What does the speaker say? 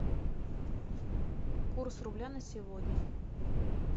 курс рубля на сегодня